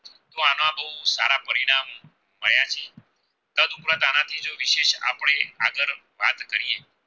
ત્યાં થી દસ પુના દાણા થી જો આપણે વિષેશ આગળ વાત કરીયે